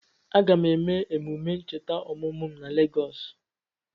Aga m eme emume ncheta ọmụmụ m na Legọs